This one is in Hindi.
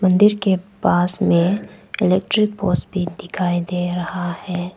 मंदिर के पास में इलेक्ट्रिक पोस भी दिखाई दे रहा है।